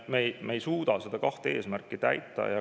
Me ei suuda neid kahte eesmärki täita.